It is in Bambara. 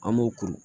An b'o kuru